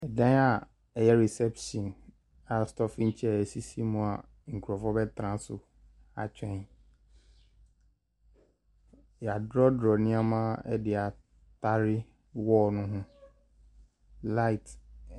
Ɛdan aa ɛyɛ resɛpshen aa stɔfin kyɛr sisi mu aa nkorɔfoɔ bɛtena so atwɛn yadorɔdorɔ nniɛma ɛde atare wɔɔl no ho laet.